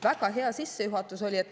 Väga hea sissejuhatus oli.